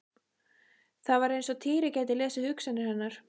Það var eins og Týri gæti lesið hugsanir hennar.